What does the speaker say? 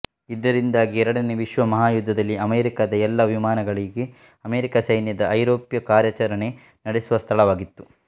ಇದರಿಂದಾಗಿ ಎರಡನೆಯ ವಿಶ್ವಮಹಾಯುದ್ಧದಲ್ಲಿ ಅಮೆರಿಕಾದ ಎಲ್ಲ ವಿಮಾನಗಳಿಗೆ ಅಮೆರಿಕ ಸೈನ್ಯದ ಐರೋಪ್ಯ ಕಾರ್ಯಾಚರಣೆ ನಡೆಸುವ ಸ್ಥಳವಾಗಿತ್ತು